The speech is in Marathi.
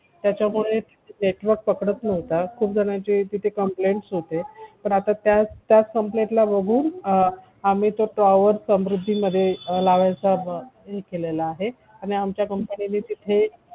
त्याच्यापुढे network पकडत नव्हता खूप जणांची तिथे complaint होती पण आता त्याच complaint बघून आम्ही तो tower समृद्धीमध्ये लावायचा हे केलेला आहे आणि आमच्या company ने तिथे